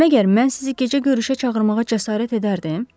Məgər mən sizi gecə görüşə çağırmağa cəsarət edərdim?